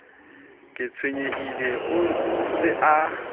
ke tshwenyehile o se ke